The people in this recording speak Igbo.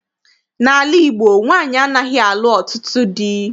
N'ala Igbo, nwaanyị anaghị alụ ọtụtụ dị.